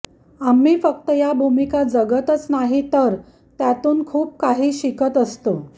आम्ही फक्त या भूमिका जगतच नाही तर त्यातून खूप काही शिकत असतो